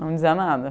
Não dizia nada.